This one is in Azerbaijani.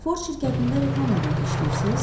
Ford şirkətində reklam agenti işləyirsiz?